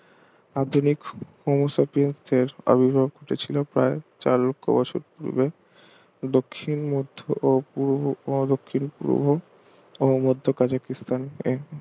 আধুনিক Homosepience দের আবির্ভাব ঘটেছিল প্রায় চার লক্ষ বছর পূর্বে দক্ষিণ মধ্য পূর্ব ও দক্ষিণপূর্ব ও মধ্য কাজাকিস্তানে